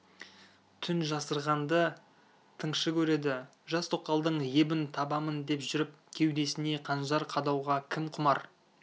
түн жасырғанды тыңшы көреді жас тоқалдың ебін табамын деп жүріп кеудесіне қанжар қадауға кім құмар